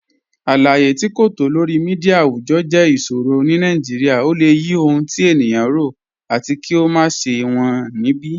Aláyé̀ tí kò tó lọ̀rí míḍíà awùjọ́ jẹ́ ìṣòrọ̀ ní Nàìjíríà. Ọ̀ lẹ̀ yí ọhun tí ènìyàn rọ̀, àtì kí ó má ṣẹ̀ wọn níbi